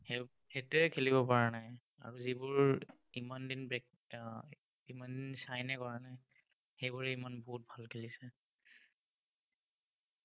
সেইটোৱে খেলিব পৰা নাই, আৰু যিবোৰ ইমান দিন উম ইমান sign এ কৰা নাই, সেইবোৰেই ইমান বহুত ভাল খেলিছে।